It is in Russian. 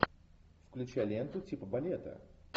включай ленту типа балета